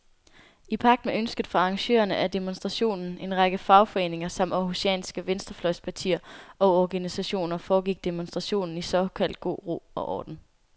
I pagt med ønsket fra arrangørerne af demonstrationen, en række fagforeninger samt århusianske venstrefløjspartier og organisationer, foregik demonstrationen i såkaldt god ro og orden.